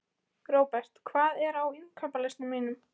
Robert, hvað er á innkaupalistanum mínum?